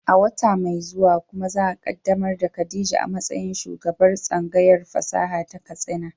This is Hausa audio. Wata mai zuwa kuma za a kaddamar da Khadija a matsayin shugabar tsangayar fasaha ta Katsina.